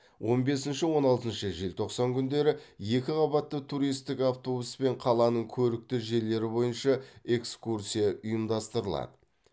он бесінші он алтыншы желтоқсан күндері екі қабатты туристік автобуспен қаланың көрікті жерлері бойынша экскурсия ұйымдастырылады